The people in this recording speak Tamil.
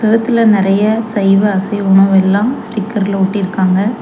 செவுத்துல நறைய சைவ அசைவ உணவெல்லாம் ஸ்டிக்கர்ல ஒட்டிருக்காங்க.